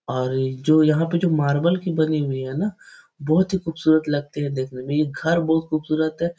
और जो यहाँ पे जो मार्बल की बनी हुई है ना बहुत ही खूबसूरत लगते है देखने मे ये घर बोहत खूबसूरत है।